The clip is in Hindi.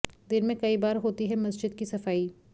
दिन में कई बार होती है मस्जिद की सफाई